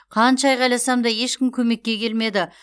қанша айқайласам да ешкім көмекке келмеді